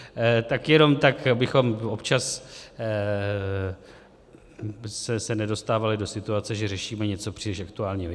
Tak jenom tak, abychom občas se nedostávali do situace, že řešíme něco příliš aktuálního.